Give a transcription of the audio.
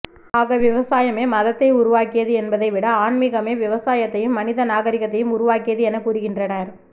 ஆக விவசாயமே மதத்தை உருவாக்கியது என்பதை விட ஆன்மிகமே விவசாயத்தையும் மனித நாகரிகத்தையும் உருவாக்கியது என கூறுகின்றனர்